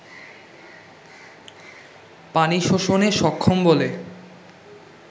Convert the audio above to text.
পানি শোষণে সক্ষম বলে